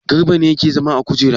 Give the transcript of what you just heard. Garba ne yake zama a kujera.